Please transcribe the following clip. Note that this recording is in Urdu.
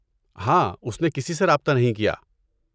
ہاں اس نے کسی سے رابطہ نہیں کیا۔